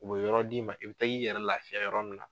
U bɛ yɔrɔ d'i ma i bɛ taa i yɛrɛ lafiya yɔrɔ min na.